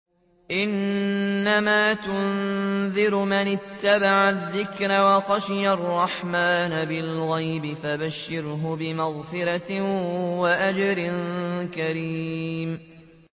إِنَّمَا تُنذِرُ مَنِ اتَّبَعَ الذِّكْرَ وَخَشِيَ الرَّحْمَٰنَ بِالْغَيْبِ ۖ فَبَشِّرْهُ بِمَغْفِرَةٍ وَأَجْرٍ كَرِيمٍ